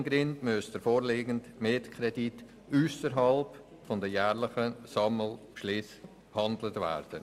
Aus zeitlichen Gründen muss der vorliegende Kredit ausserhalb der jährlichen Sammelbeschlüsse behandelt werden.